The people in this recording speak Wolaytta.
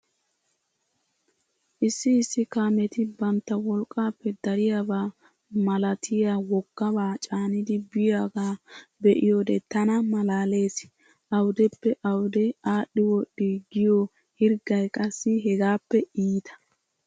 Issi issi kaameeti bantta wolqqaappe dariyaaba malatiya woggabaa caanidi biyoogaa be"iyoodee tana malaalees. Awudeppe awude aadhdhi wodhdhi giyoo hirggay qassi hegaappe iita.